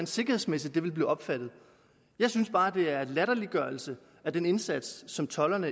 sikkerhedsmæssigt vil blive opfattet jeg synes bare det er en latterliggørelse af den indsats som tolderne